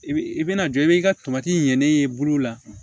I bi i bɛna jɔ i b'i ka ɲɛnen ye i bolo la